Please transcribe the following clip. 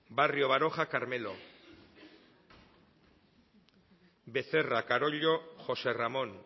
barrio baroja carmelo becerra carollo josé ramón